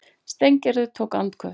Steingerður tók andköf.